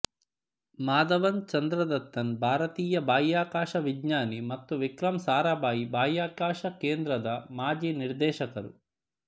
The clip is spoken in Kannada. ಮಾಧವನ್ ಚಂದ್ರದತ್ತನ್ ಭಾರತೀಯ ಬಾಹ್ಯಾಕಾಶ ವಿಜ್ಞಾನಿ ಮತ್ತು ವಿಕ್ರಮ್ ಸಾರಾಭಾಯಿ ಬಾಹ್ಯಕಾಶ ಕೇಂದ್ರದ ಮಾಜಿ ನಿರ್ದೇಶಕರು